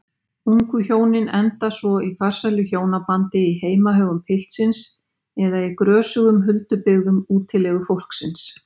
Ungu hjónin enda svo í farsælu hjónabandi í heimahögum piltsins eða í grösugum huldubyggðum útilegufólksins.